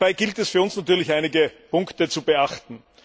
Dabei gilt es für uns natürlich, einige Punkte zu beachten.